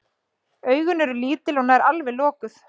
Augun eru lítil og nær alveg lokuð.